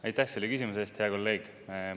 Aitäh selle küsimuse eest, hea kolleeg!